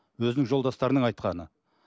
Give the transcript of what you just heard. өзінің жолдастарының айтқаны